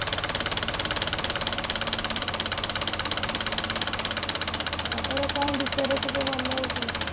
ଆଉ ତୋର କୋଉ ବିଷୟରେ ସବୁ ଭଲ ହଉଥିଲା